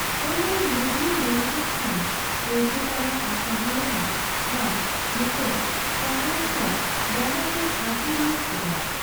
ᱦᱚᱲᱢᱚ ᱨᱮ ᱞᱩᱜᱽᱲᱤ ᱢᱮᱱ ᱠᱮᱫ ᱠᱷᱟᱱ ᱯᱚᱭᱛᱟ ᱛᱟᱱᱟᱜ ᱟᱠᱟᱦᱟᱱ ᱞᱮᱠᱟ ᱟᱢ ᱢᱤᱫᱴᱟᱝ ᱛᱟᱨᱮᱱ ᱠᱦᱟᱱ ᱰᱟᱸᱰᱟ ᱥᱮᱫ ᱟᱹᱛᱩᱨ ᱧᱚᱜ ᱠᱚᱜ ᱟ ᱾